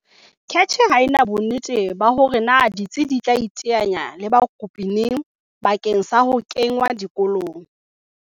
CACH ha ena bonnete ba hore na ditsi di tla iteanya le bakopi neng bakeng sa ho kengwa dikolong.